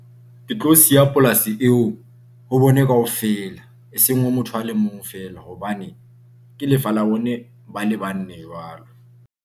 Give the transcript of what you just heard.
Ke tlo siya polasi eo ho bone kaofela e seng ha motho a le mong fela hobane ke lefa la bone, ba le bane jwalo.